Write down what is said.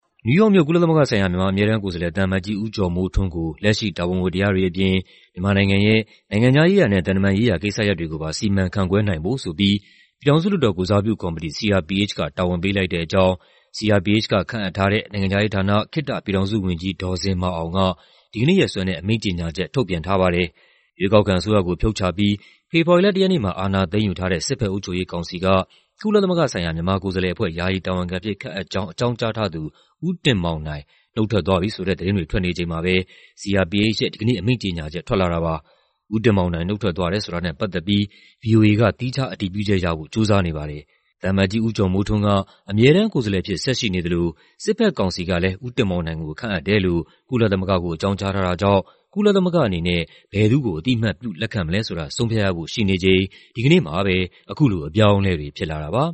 နယူးယောက်မြို့၊ ကုလသမဂ္ဂဆိုင်ရာ မြန်မာအမြဲတမ်းကိုယ်စားလှယ် သံအမတ်ကြီး ဦးကျော်မိုးထွန်းကို လက်ရှိ တာဝန်ဝတ္တရားတွေအပြင် မြန်မာနိုင်ငံရဲ့ နိုင်ငံခြားရေးရာနဲ့ သံတမန်ရေးရာ ကိစ္စရပ်တွေကိုပါ စီမံခန့်ခွဲနိုင်ဖို့ဆိုပြီး ပြည်ထောင်စုလွှတ်တော်ကိုယ်စားပြုကော်မတီ (CRPH) က တာဝန်ပေးလိုက်တဲ့အကြောင်း CRPH က ခန့်အပ်ထားတဲ့ နိုင်ငံခြားရေးဌာန၊ ခေတ္တပြည်ထောင်စုဝန်ကြီး ဒေါ်ဇင်မာအောင်က ဒီကနေ့ရက်စွဲနဲ့ အမိန့်ကြေညာချက် ထုတ်ပြန်ထားပါတယ်။ ရွေးကောက်ခံအစိုးရကို ဖြုတ်ချပြီး ဖေဖော်ဝါရီလ ၁ ရက်နေ့မှာ အာဏာသိမ်းယူထားတဲ့ စစ်ဘက် အုပ်ချုပ်ရေးကောင်စီက ကုလသမဂ္ဂဆိုင်ရာ မြန်မာကိုယ်စားလှယ်အဖွဲ့ ယာယီတာဝန်ခံအဖြစ် ခန့်အပ်ကြောင်း အကြောင်းကြားထားသူ ဦးတင်မောင်နိုင် နုတ်ထွက်သွားပြီဆိုတဲ့သတင်းတွေ ထွက်နေချိန်မှာပဲ CRPH ရဲ့ဒီကနေ့ အမိန့်ကြေညာချက် ထွက်လာတာပါ။ ဦးတင်မောင်နိုင် နုတ်ထွက်သွားတယ်ဆိုတာနဲ့ ပတ်သက်ပြီး ဗွီအိုအေက သီးခြားအတည်ပြုချက်ရဖို့ ကြိုးစားနေပါတယ်။ သံအမတ်ကြီး ဦးကျော်မိုးထွန်းက အမြဲတမ်းကိုယ်စားလှယ်အဖြစ် ဆက်ရှိနေသလို စစ်ဘက်ကောင်စီကလည်း ဦးတင်မောင်နိုင်ကို ခန့်အပ်တယ်လို့ ကုလသမဂ္ဂကို အကြောင်းကြားထားတာကြောင့် ကုလသမဂ္ဂအနေနဲ့ ဘယ်သူ့ကို အသိအမှတ်ပြု လက်ခံမလဲဆိုတာ ဆုံးဖြတ်ရဖို့ ရှိနေချိန် ဒီကနေ့မှာပဲ အခုလို အပြောင်းအလဲတွေဖြစ်လာတာပါ